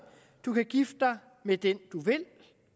du kan gifte dig med den du vil